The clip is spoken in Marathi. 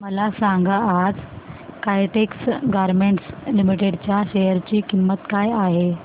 मला सांगा आज काइटेक्स गारमेंट्स लिमिटेड च्या शेअर ची किंमत काय आहे